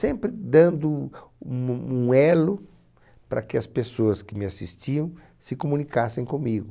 Sempre dando um um um elo para que as pessoas que me assistiam se comunicassem comigo.